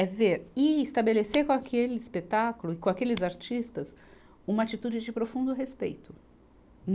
É ver e estabelecer com aquele espetáculo, com aqueles artistas, uma atitude de profundo respeito.